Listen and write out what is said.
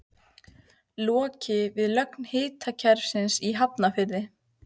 Lokið við lögn hitaveitukerfis í Hafnarfirði.